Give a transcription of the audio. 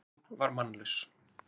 Bíllinn var mannlaus